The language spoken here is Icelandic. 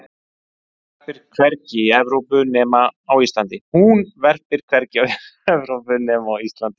hún verpir hvergi í evrópu nema á íslandi